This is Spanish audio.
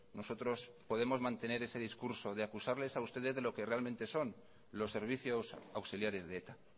nosotros podemos mantener ese discurso de acusarles a ustedes de lo que realmente son los servicios auxiliares de eta